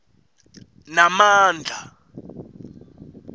namandla